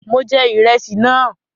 Mọ jẹ ìrẹsì náà.